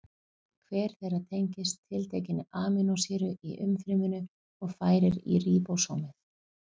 Hver þeirra tengist tiltekinni amínósýru í umfryminu og færir í ríbósómið.